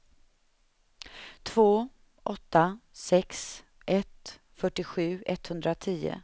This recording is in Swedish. två åtta sex ett fyrtiosju etthundratio